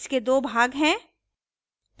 इसके दो भाग हैं